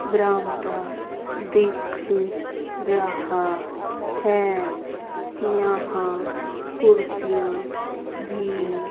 बरामदा दिख रहा है यहाँ कुर्सियाँ भी--